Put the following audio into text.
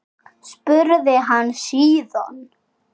spurði hann síðan.